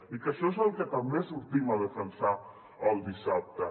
i això és el que també sortim a defensar el dissabte